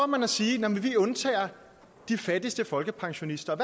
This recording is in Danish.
man at sige at man undtager de fattigste folkepensionister